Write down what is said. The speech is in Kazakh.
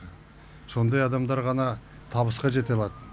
сондай адамдар ғана табысқа жете алады